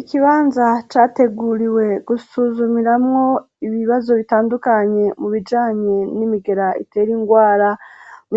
Ikibanza yateguriwe gusuzumiramwo ibibazo bitandukanye mu bijanye n'imigera itere indwara.